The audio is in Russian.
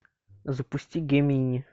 запусти гемини